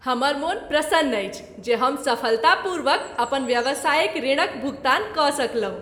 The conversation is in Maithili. हमर मोन प्रसन्न अछि जे हम सफलतापूर्वक अपन व्यावसायिक ऋणक भुगतान कऽ सकलहुँ।